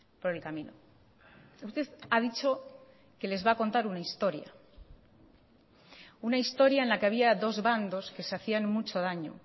por el camino usted ha dicho que les va a contar una historia una historia en la que había dos bandos que se hacían mucho daño